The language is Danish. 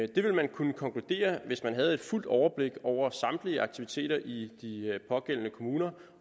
det ville man kunne konkludere hvis man havde fuldt overblik over samtlige aktiviteter i de pågældende kommuner